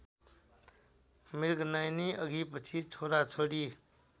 मृगनयनी अघिपछि छोराछोरी